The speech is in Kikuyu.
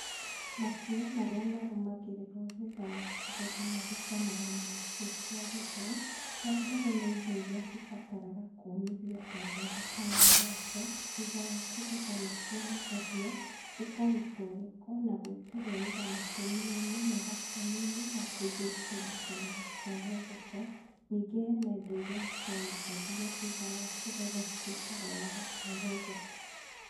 Makinya marĩa marũgamagĩrĩrwo maringana na nĩkĩ kĩagethwo wambere nĩindo iria cĩbatie kũũmithio, ta mbembe kana mboco thũtha wa kũgetha nĩciumithagio cikarutwo gĩko na gwíkĩrwo ĩitha makũniainĩ, magotoninĩ na kũigwo ikumbĩinĩ kana gũtwarwo thoko ningĩ hena indo iria citomithagio thutha wa kũgetha citũikaga oo wa gũtwarwo thoko.